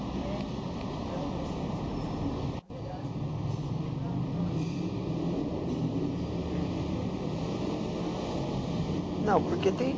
o rap e religião, assim, você pode descrever um pouco melhor, se você é tipo, ah meu amigo, ele, hum entrou para igreja e tal, assim. Não porque tem